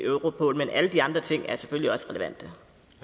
europol men alle de andre ting er selvfølgelig også relevante